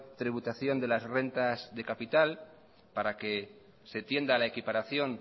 tributación de las rentas de capital para que se tienda la equiparación